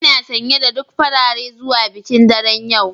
Ina sanye da duk farare zuwa bikin daren yau